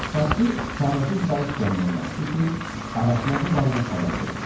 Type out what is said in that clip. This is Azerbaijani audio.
Paspartu çarəsiz qalıb gəmiyə qayıtdı ki, ağasına bu barədə xəbər versin.